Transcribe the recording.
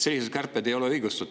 Sellised kärped ei ole õigustatud.